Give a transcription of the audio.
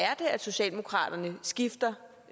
er at socialdemokraterne skifter